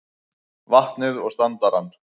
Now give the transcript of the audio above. vatnið og standarann.